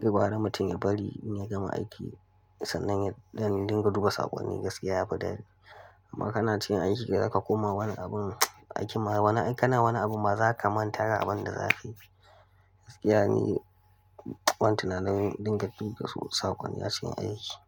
gaba da mutum ya bari in ya gama aiki sannan yace dinga duba saƙonni gaskiya ya fi dadi. Amma kana cikin aiki ka kuma wani abin aiki ma wani, kana wani abu ma za ka manta da abin da za su yi. Gaskiya ne, ban tunanin dinga duba su saƙon ya cikin aiki ba.